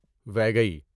ویگئی